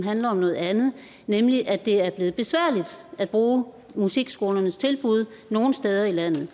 handler om noget andet nemlig at det er blevet besværligt at bruge musikskolernes tilbud nogle steder i landet